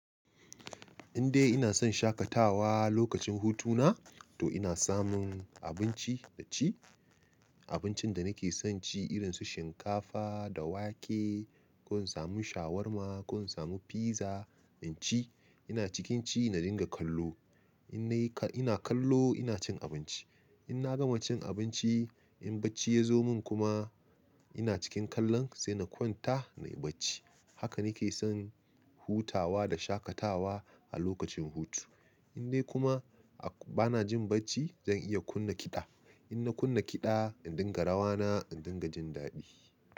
Indai ina son shakatawa lokacin hutuna, to ina samun abinci na ci, abincin da nake son ci irin su shinkafa da wake. Ko in samu shawarma, ko in samu pizza in ci. Ina cikin ci na dinga kallo. Ina kallo ina cin abinci. In na gama cin abinci, in bacci ya zo min kuma ina cikin kallon, sai na kwanta nayi bacci. Haka nake son hutawa da shakatawa a lokacin hutu. Indai kuma bana jin bacci, zan iya kunna kiɗa. In na kunna kiɗa, in dinga rawa na, in dinga jin daɗi.